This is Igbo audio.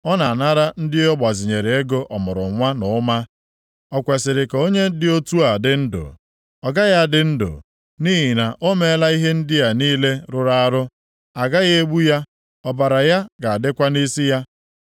Ọ na-anara ndị ọ gbazinyere ego ọmụrụnwa na ụma. O kwesiri ka onye dị otu a dị ndụ? Ọ gaghị adị ndụ. Nʼihi na o meela ihe ndị a niile rụrụ arụ. A ga-egbu ya. Ọbara ya ga-adịkwa nʼisi ya.